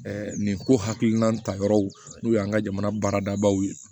nin ko hakilina ta yɔrɔ n'o y'an ka jamana baaradabaw ye